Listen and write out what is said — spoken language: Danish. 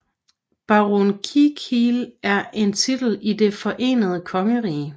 Baron Kilkeel er en titel i Det Forenede Kongerige